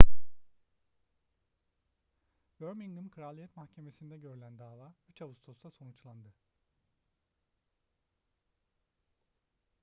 birmingham kraliyet mahkemesi'nde görülen dava 3 ağustos'ta sonuçlandı